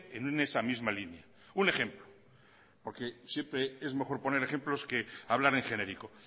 en esa misma línea un ejemplo porque siempre es mejor poner ejemplos que hablar en genérico